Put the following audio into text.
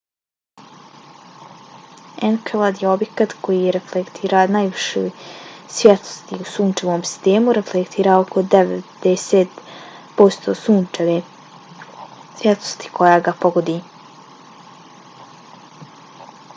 enkelad je objekt koji reflektira najviše svjetlosti u sunčevom sistemu; reflektira oko 90 posto sunčeve svjetlosti koja ga pogodi